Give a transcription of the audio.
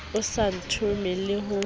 o sa ntome le ho